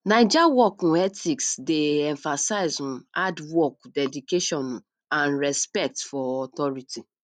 naija work um ethics dey emphasize um hard work dedication um and respect for authority